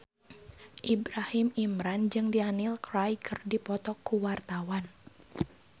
Ibrahim Imran jeung Daniel Craig keur dipoto ku wartawan